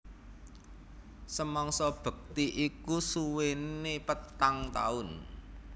Samangsa bekti iku suwéné patang taun